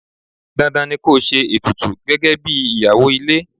Dandan ni ko ṣe ètùtù gẹ́gẹ́bí ìyàwó ilé.